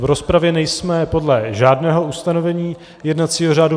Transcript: V rozpravě nejsme podle žádného ustanovení jednacího řádu.